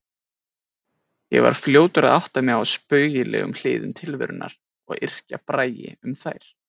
Ég var fljótur að átta mig á spaugilegum hliðum tilverunnar og yrkja bragi um þær.